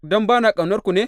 Don ba na ƙaunar ku ne?